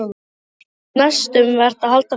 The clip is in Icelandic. Henni finnst mest um vert að halda friðinn.